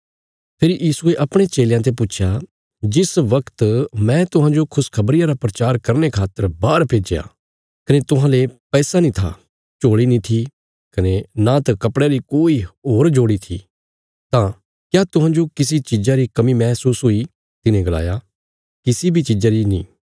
फेरी यीशुये अपणे चेलयां ते पुच्छया जिस वगत मैं तुहांजो खुशखबरिया रा प्रचार करने खातर बाहर भेज्या कने तुहांले पैसा नीं था झोल़ी नीं थी कने नांत कपड़यां री कोई होर जोड़ी थी तां क्या तुहांजो किसी चीज़ा री कमी महसूस हुई तिन्हे गलाया किसी बी चीज़ा री नीं